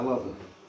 Əladır.